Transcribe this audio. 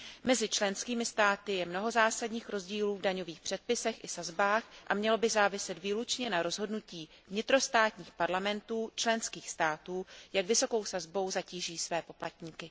Mezi členskými státy je mnoho zásadních rozdílů v daňových předpisech i sazbách a mělo by záviset výlučně na rozhodnutí vnitrostátních parlamentů členských států, jak vysokou sazbou zatíží své poplatníky.